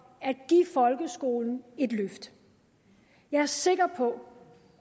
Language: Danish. at give folkeskolen et løft jeg er sikker på